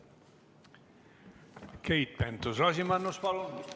Keit Pentus-Rosimannus, palun!